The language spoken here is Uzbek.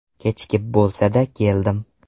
Kechikib bo‘lsa-da keldim.